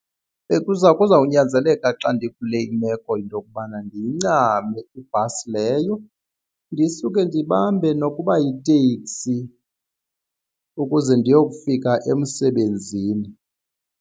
Kuzawunyanzeleka xa ndikule imeko into yokubana ndiyincame ibhasi leyo ndisuke ndibambe nokuba yitekisi ukuze ndiyofika emsebenzini.